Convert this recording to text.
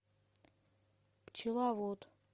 пчеловод